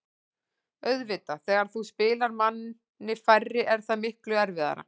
Auðvitað, þegar þú spilar manni færri er það miklu erfiðara.